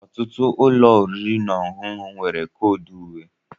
ọtụtụ ụlọ oriri na ọṅụṅụ nwere koodu uwe